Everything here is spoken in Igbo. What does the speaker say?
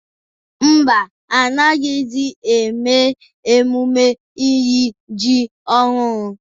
Ḿbà, anaghịzi eme emume iri ji ọhụrụ.